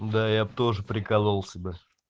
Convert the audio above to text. да я б тоже прикололся бы